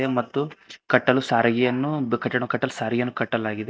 ಮತ್ತು ಕಟ್ಟಲು ಸಾರಿಗೆಯನ್ನು ಆ ಕಟ್ಟಡ ಕಟ್ಟಲು ಸಾರಿಗೆಯನ್ನು ಕಟ್ಟಲಾಗಿದೆ.